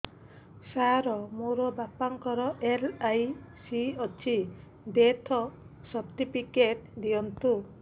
ସାର ମୋର ବାପା ଙ୍କର ଏଲ.ଆଇ.ସି ଅଛି ଡେଥ ସର୍ଟିଫିକେଟ ଦିଅନ୍ତୁ